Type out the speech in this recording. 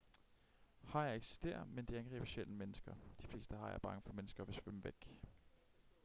hajer eksisterer men de angriber sjældent mennesker de fleste hajer er bange for mennesker og vil svømme væk